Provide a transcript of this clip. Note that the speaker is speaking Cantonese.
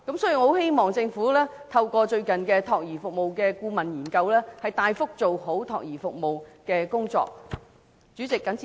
所以，我希望政府透過最近有關託兒服務的顧問研究，大幅地做好託兒服務的工作。